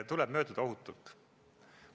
Tuleb mööduda ohutult.